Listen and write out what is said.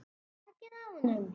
Takið á honum!